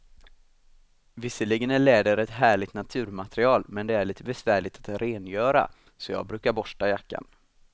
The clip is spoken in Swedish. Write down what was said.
Visserligen är läder ett härligt naturmaterial, men det är lite besvärligt att rengöra, så jag brukar borsta jackan.